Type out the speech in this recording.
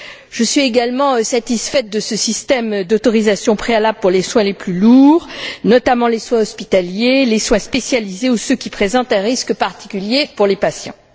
Je suis également satisfaite de ce système d'autorisation préalable pour les soins les plus lourds, notamment les soins hospitaliers, les soins spécialisés ou ceux qui présentent un risque particulier pour les patients.